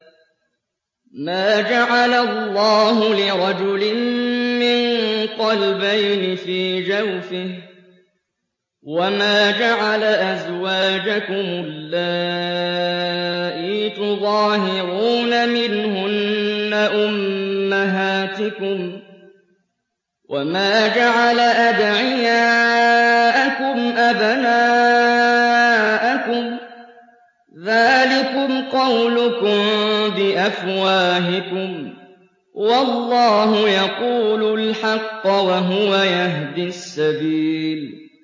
مَّا جَعَلَ اللَّهُ لِرَجُلٍ مِّن قَلْبَيْنِ فِي جَوْفِهِ ۚ وَمَا جَعَلَ أَزْوَاجَكُمُ اللَّائِي تُظَاهِرُونَ مِنْهُنَّ أُمَّهَاتِكُمْ ۚ وَمَا جَعَلَ أَدْعِيَاءَكُمْ أَبْنَاءَكُمْ ۚ ذَٰلِكُمْ قَوْلُكُم بِأَفْوَاهِكُمْ ۖ وَاللَّهُ يَقُولُ الْحَقَّ وَهُوَ يَهْدِي السَّبِيلَ